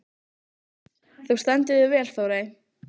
Þú stendur þig vel, Þórey!